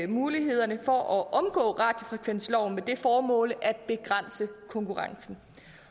mulighederne for at omgå radiofrekvensloven med det formål at begrænse konkurrencen